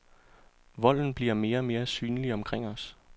Volden bliver mere og mere synlig omkring os.